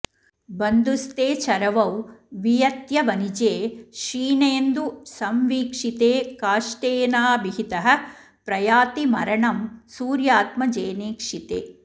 बन्धुस्थे चरवौ वियत्यवनिजे क्षीणेन्दु संवीक्षिते काष्ठेनाभिहतः प्रयाति मरणं सूर्यात्मजेनेक्षिते